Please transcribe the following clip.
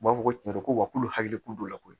U b'a fɔ ko tiɲɛ don ko wa k'olu hakili t'o la koyi